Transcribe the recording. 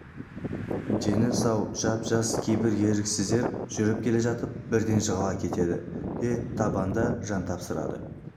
дені сау жап-жас кейбір еріксіздер жүріп келе жатып бірден жығыла кетеді де табанда жан тапсырады